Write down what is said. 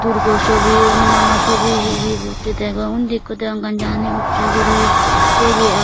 durgo sobi hunumano sobi hihi mukti degong undi ikko degong ganji hani ussey guri teyye aagon.